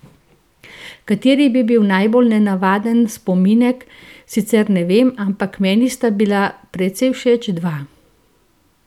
Kateri bi bil najbolj nenavaden spominek, sicer ne vem, ampak meni sta bila precej všeč dva.